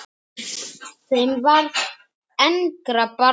Þeim varð engra barna auðið.